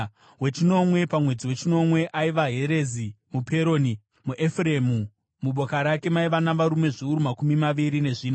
Wechinomwe pamwedzi wechinomwe, aiva Herezi muPeroni, muEfuremu. Muboka rake maiva navarume zviuru makumi maviri nezvina.